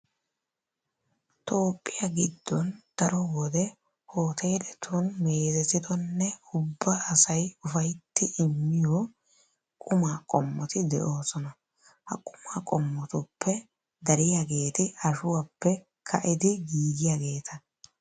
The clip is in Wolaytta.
Toophphiya giddon daro wode hooteeletun meezetidonne ubba asay ufayttidi miyo qumaa qommoti de'oosona. Ha qumaa qommotuppe dariyageeti ashuwappe ka'idi giigiyageeta.